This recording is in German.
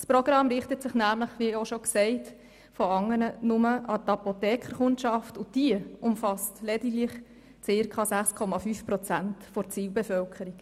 Das Programm richtet sich – wie bereits erwähnt – nur an die Kundschaft der Apotheken, und diese umfasst lediglich ungefähr 6,5 Prozent der Zielbevölkerung.